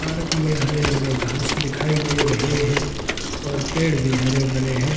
Park में हरे-भरे घास दिखाई दे रहे हैं और पेड़ भी हरे-भरे हैं ।